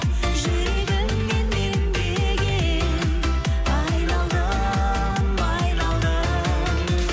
жүрегіңнен мен деген айналдым айналдым